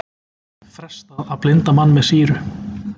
Frestað að blinda mann með sýru